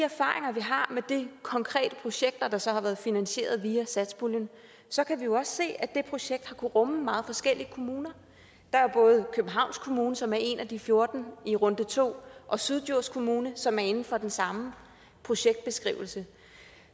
konkrete projekter der så har været finansieret via satspuljen så kan vi jo også se at de projekter har rumme meget forskellige kommuner der er både københavns kommune som er en af de fjorten i runde to og syddjurs kommune som er inden for den samme projektbeskrivelse